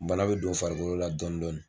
Bana be don farikolo la dɔndɔni